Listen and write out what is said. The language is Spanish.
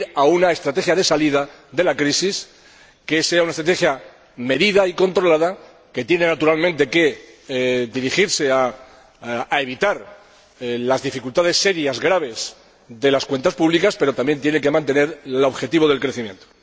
una estrategia de salida de la crisis, que sea una estrategia medida y controlada, que tiene, naturalmente, que dirigirse a evitar las dificultades serias, graves, de las cuentas públicas, pero que también tiene que mantener el objetivo del crecimiento.